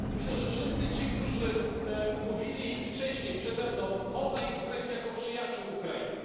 Myślę, że wszystkich tych, którzy mówili wcześniej przede mną, można określić jako przyjaciół Ukrainy.